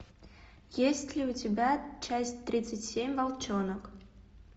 есть ли у тебя часть тридцать семь волчонок